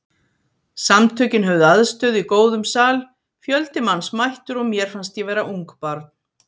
Samtökin höfðu aðstöðu í góðum sal, fjöldi manns mættur og mér fannst ég vera ungbarn.